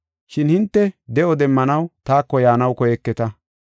Shin hinte de7o demmanaw taako yaanaw koyeketa.